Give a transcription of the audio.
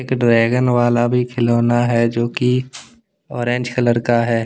Dragon वाला भी खिलौना है। जो की ऑरेंज कलर का है।